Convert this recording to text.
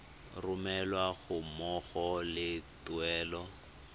romelwa ga mmogo le tuelo